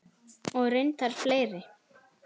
Og reyndar fleiri.